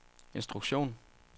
instruktion